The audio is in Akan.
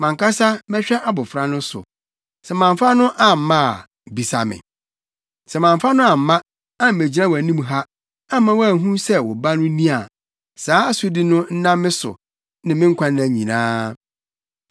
Mʼankasa mɛhwɛ abofra no so. Sɛ mamfa no amma a, bisa me. Sɛ mamfa no amma, ammegyina wʼanim ha, amma woanhu sɛ wo ba no ni a, saa asodi no nna me so me nkwanna nyinaa.